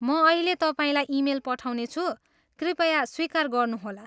म अहिल्यै तपाईँलाई इमेल पठाउनेछु। कृपया स्वीकार गर्नुहोला।